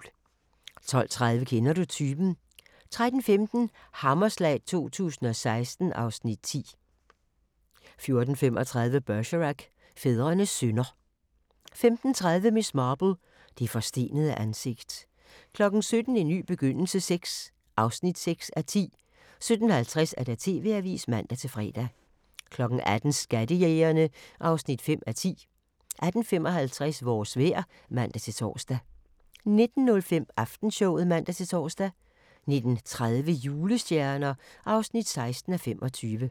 12:30: Kender du typen? 13:15: Hammerslag 2016 (Afs. 10) 14:35: Bergerac: Fædrenes synder 15:30: Miss Marple: Det forstenede ansigt 17:00: En ny begyndelse VI (6:10) 17:50: TV-avisen (man-fre) 18:00: Skattejægerne (5:10) 18:55: Vores vejr (man-tor) 19:05: Aftenshowet (man-tor) 19:30: Julestjerner (16:25)